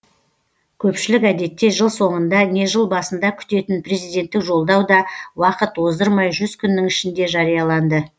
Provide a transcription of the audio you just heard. көпшілік әдетте жыл соңында не жыл басында күтетін президенттік жолдау да уақыт оздырмай жүз күннің ішінде жарияланды